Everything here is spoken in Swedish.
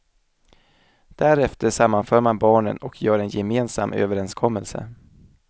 Därefter sammanför man barnen och gör en gemensam överenskommelse.